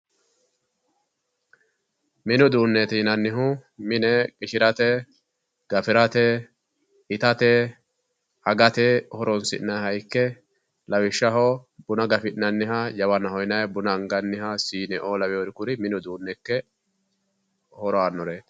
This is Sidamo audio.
Mini uduunneeti yinannihu mine qishirate gafirate itate agate horoonsi'nanniha ikke lawishshaho buna gafi'nanniha jawanna yinayi buna angannita siinete yinayi kuriuu ikke horo aannoreeti.